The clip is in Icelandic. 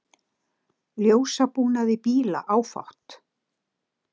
Ljósabúnaði bíla áfátt